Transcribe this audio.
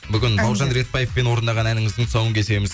бүгін бауыржан ретбаевпен орындаған әніңіздің тұсауын кесеміз